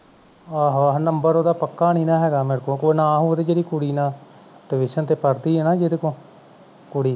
ਆਹੋ-ਆਹੋ number ਉਹਦਾ ਪਕਾ ਨਹੀਂ ਨਾਂ ਹੈਗਾ ਮੇਰੇ ਕੋਲ ਉਹਦੇ ਕੋਲ ਨਾ ਹੋਓ ਤੇ ਜਿਹੜੀ ਕੁੜੀ ਨਾਲ television ਤੇ ਪੜ੍ਹਦੀ ਹਾਂ ਨਾ ਜਿਹਦੇ ਕੋਲ ਕੁੜੀ